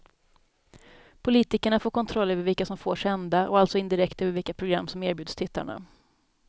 Politikerna får kontroll över vilka som får sända och alltså indirekt över vilka program som erbjuds tittarna.